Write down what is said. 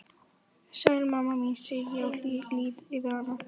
Sæl mamma mín, segi ég og lýt yfir hana.